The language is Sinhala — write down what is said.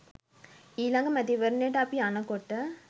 ඊළඟ මැතිවරණයට අපි යනකොට